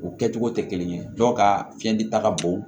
U kɛcogo tɛ kelen ye dɔw ka fiɲɛ di ta ka bon